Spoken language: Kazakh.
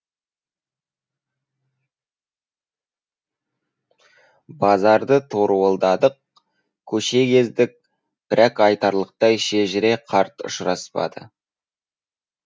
базарды торуылдадық көше кездік бірақ айтарлықтай шежіре қарт ұшыраспады